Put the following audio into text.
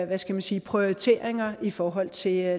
hvad skal man sige prioriteringer i forhold til